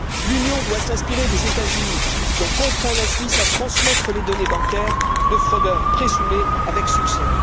L'Union doit s'inspirer des États Unis qui ont contraint la Suisse à transmettre les données bancaires de fraudeurs présumés, avec succès.